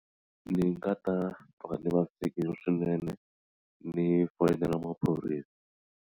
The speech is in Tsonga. Ni nga ta va ni vavisekile swinene ni foyinela maphorisa.